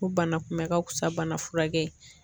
Ko bana kunbɛ ka fisa bana furakɛ ye.